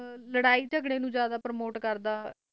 ਲੜਾਈ ਚਗਰੇ ਨੂੰ ਜਾਂਦਾ ਪ੍ਰਮੋਟ ਕਰਦਾ ਹੈ